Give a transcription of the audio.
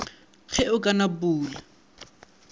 ge go ka na pula